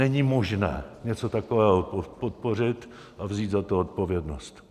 Není možné něco takového podpořit a vzít za to zodpovědnost.